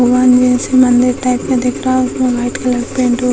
one मे से मंदिर टाइप में दिख रहा है उसमे वाइट कलर का पेंट हो --